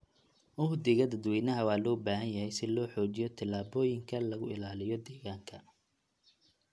Uhdhigga dadweynaha waa loo baahan yahay si loo xoojiyo talaabooyinka lagu ilaaliyo deegaanka.